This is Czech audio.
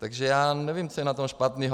Takže já nevím, co je na tom špatného.